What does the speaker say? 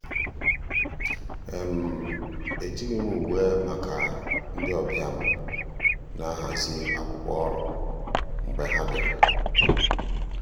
ejighị m uwe maka ndị ọbịa m na-ahazi akwụkwọ ọrụ mgbe ha bịara.